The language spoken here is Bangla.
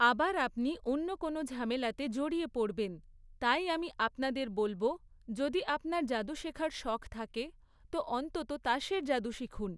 আবার আপনি অন্য কোনো ঝামেলাতে জড়িয়ে পড়বেন, তাই আমি আপনাদের বলব, যদি আপনার জাদু শেখার শখ থাকে, তো অন্তত তাসের জাদু শিখুন।